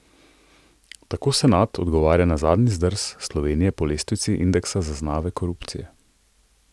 Tako senat odgovarja na zadnji zdrs Slovenije po lestvici indeksa zaznave korupcije.